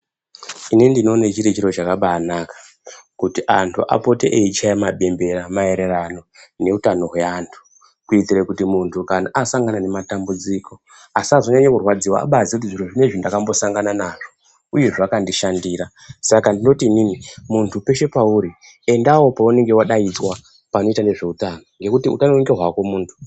Inini ndinoone chiri chiro kakabaanaka kuti antu apoto eichaye mabembera maererano neutano hweantu kuitire kuti muntu kana asangana nematambudziko asazonyanye kurwadziwa abaatoziye kuti zviro zvinezvi ndakambosangana nazvo uye zvakandishandira saka ndinoti inini muntu peshe pauri endawo pawunenge wadaidzwa panoita nezveutano ngekuti unganonokerwa hako muntu.